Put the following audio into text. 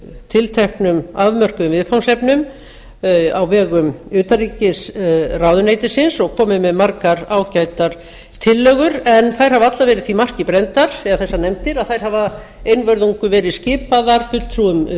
tilteknum afmörkuðum viðfangsefnum á vegum utanríkisráðuneytisins og komið með margar ágætar tillögur en þær hafa allar verið því marki brenndar þessar nefndir að þær hafa einvörðungu verið skipaðar fulltrúum